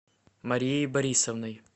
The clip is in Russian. марией борисовной